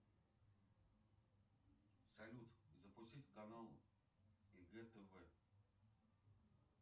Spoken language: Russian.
салют запустить канал егэ тв